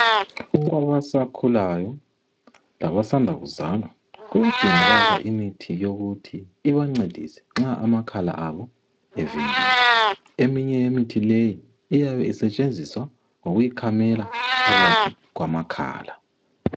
Kwabasakhulayo, labasanda kuzalwa kuyadingakala imithi yokuthi ibancedise nxa amakhala abo evimbene. Eminye yemithi leyi iyabe isetshenziswa ngokuyikhamela phakathi kwamakhala.